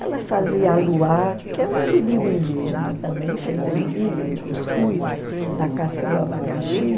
Ela fazia aluá, que é uma bebida indígena também, feita do milho, do cuscuz, da casca do abacaxi.